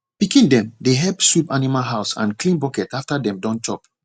pikin dem dey help sweep animal house and clean bucket after dem don chop